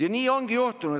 Aga nii riiki ei ehitata.